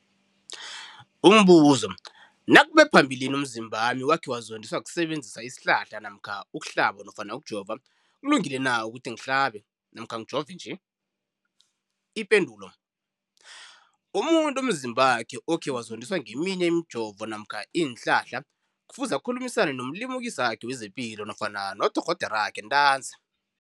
Umbuzo, nakube phambilini umzimbami wakhe wazondiswa kusebenzisa isihlahla namkha ukuhlaba nofana ukujova, kulungile na ukuthi ngihlabe namkha ngijove nje? Ipendulo, umuntu umzimbakhe okhe wazondiswa ngeminye imijovo namkha iinhlahla kufuze akhulumisane nomlimukisi wakhe wezepilo nofana nodorhoderakhe ntanzi.